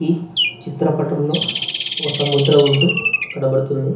ఈ చిత్రపటం లో ఒక సముద్రం వొడ్డు కనపడుతుంది.